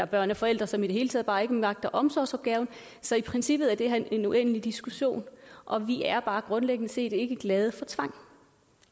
børn af forældre som i det hele taget bare ikke magter omsorgsopgaven så i princippet er det her en uendelig diskussion og vi er bare grundlæggende set ikke glade for tvang